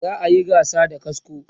za'a Yi gasa da kasko